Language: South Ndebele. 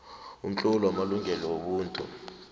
umtlolo wamalungelo wobuntu